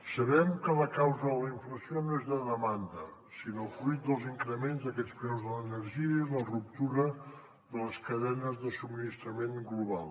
sabem que la causa de la inflació no és de demanda sinó fruit dels increments d’aquests preus de l’energia i la ruptura de les cadenes de subministrament global